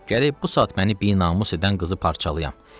Gərək bu saat məni binamus edən qızı parça-parçalayam.